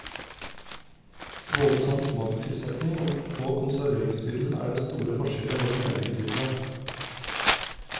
Både som smakstilsetning og konserveringsmiddel er det store forskjeller mellom eddiktypene.